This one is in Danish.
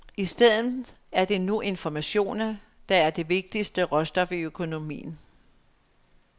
I stedet er det nu informationer, der er det vigtigste råstof i økonomien.